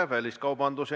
Jevgeni Ossinovski, palun!